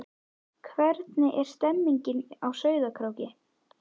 Hvernig er stemningin á Sauðárkróki?